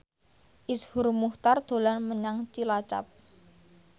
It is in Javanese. Iszur Muchtar dolan menyang Cilacap